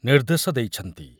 ନିର୍ଦ୍ଦେଶ ଦେଇଛନ୍ତି ।